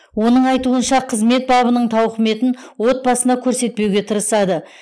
оның айтуынша қызмет бабының тауқыметін отбасына көрсетпеуге тырысады